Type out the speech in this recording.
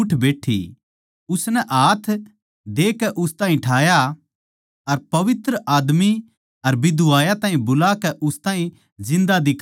उसनै हाथ देकै उस ताहीं ठाया अर पवित्र आदमी अर बिधवायां ताहीं बुलाकै उस ताहीं जिन्दा दिखा दिया